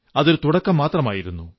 അതൊരു തുടക്കം മാത്രമായിരുന്നു